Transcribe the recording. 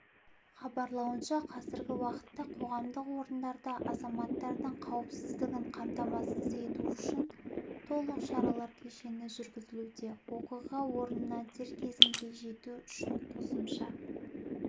хабарлауынша қазіргі уақытта қоғамдық орындарда азаматтардың қауіпсіздігін қамтамасыз ету үшін толық шаралар кешені жүргізілуде оқиға орнына дер кезінде жету үшін қосымша